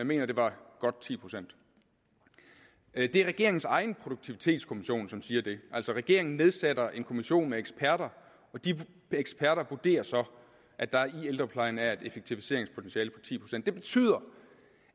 mener det var godt ti procent det er regeringens egen produktivitetskommission som siger det altså regeringen nedsætter en kommission med eksperter og de eksperter vurderer så at der i ældreplejen er et effektiviseringspotentiale på ti procent det betyder